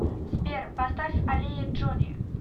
сбер поставь аллея джони